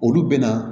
Olu bɛna